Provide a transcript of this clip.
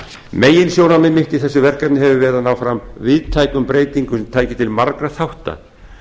meginsjónarmið mitt í þessu verkefni hefur verið að ná fram víðtækum breytingum sem tækju til margra þátta